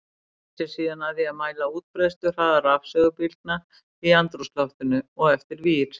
Hann sneri sér síðan að því að mæla útbreiðsluhraða rafsegulbylgna í andrúmsloftinu og eftir vír.